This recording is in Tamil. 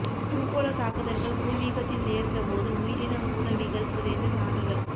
பூகோளத் தாக்குதல்கள் பூர்வீகத்தில் நேர்ந்த போது உயிரின மூலவிகள் புதைந்த சான்றுகள்